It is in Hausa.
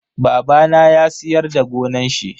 Babana ya siyar da gonan shi.